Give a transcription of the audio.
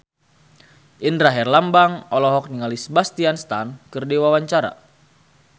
Indra Herlambang olohok ningali Sebastian Stan keur diwawancara